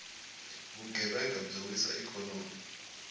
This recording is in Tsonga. vugevhenga byi wisa ikhonomi